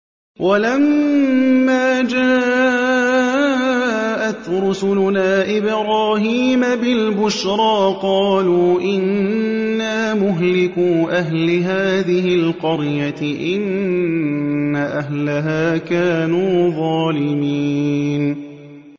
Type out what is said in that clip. وَلَمَّا جَاءَتْ رُسُلُنَا إِبْرَاهِيمَ بِالْبُشْرَىٰ قَالُوا إِنَّا مُهْلِكُو أَهْلِ هَٰذِهِ الْقَرْيَةِ ۖ إِنَّ أَهْلَهَا كَانُوا ظَالِمِينَ